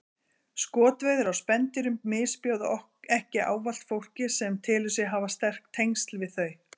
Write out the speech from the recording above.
Skotveiðar á spendýrum misbjóða ekki ávallt fólki sem telur sig hafa sterk tengsl við þau.